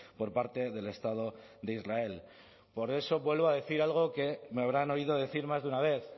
por parte del estado de israel por eso vuelvo a decir algo que me habrán oído decir más de una vez